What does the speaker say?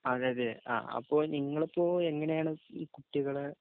അതേയതെ, , അപ്പൊ നിങ്ങളിപ്പോ എങ്ങനെയാണ് ഈ കുട്ടികളെ